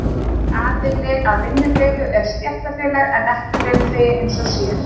Aðili að vinnudeilu er stéttarfélag en ekki launþegi einn og sér.